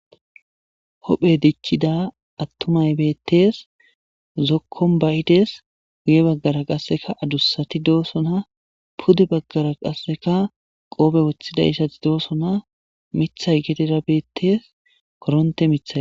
hohphe dicckida attumay beettees zokkon bayidees guye baggara qasseka adussati doosona pude baggara qasseka qoobe woththida issati doosona mithay gedera beettees koronte mithay